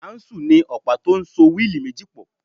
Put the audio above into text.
Áúnsùl ni ọ̀pá tó so wíìlì méjì pọ̀